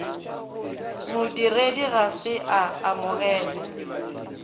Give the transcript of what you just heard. modiredi ga se a amogele